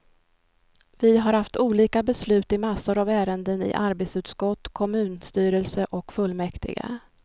Vi har haft olika beslut i massor av ärenden i arbetsutskott, kommunstyrelse och fullmäktige.